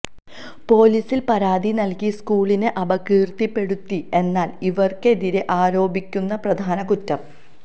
പൊലീസിൽ പരാതി നൽകി സ്കൂളിനെ അപകീർത്തിപ്പെടുത്തി എന്നാണ് ഇവർക്കെതിരെ ആരോപിക്കുന്ന പ്രധാന കുറ്റം